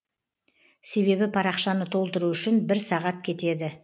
себебі парақшаны толтыру үшін бір сағат кетеді